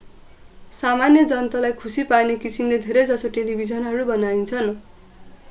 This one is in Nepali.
सामान्य जनतालाई खुशी पार्ने किसिमले धेरै जसो टेलिभिजनहरू बनाइन्छन्